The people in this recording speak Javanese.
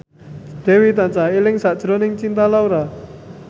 Dewi tansah eling sakjroning Cinta Laura